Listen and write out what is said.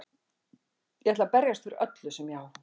Ég ætla að berjast fyrir öllu sem ég á.